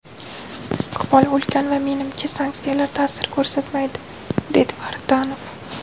Istiqbol ulkan va menimcha, sanksiyalar ta’sir ko‘rsatmaydi”, dedi Vartanov.